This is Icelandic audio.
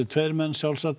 menn sjálfsagt